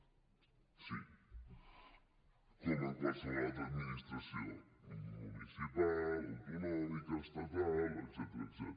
sí com en qualsevol altra administració municipal autonòmica estatal etcètera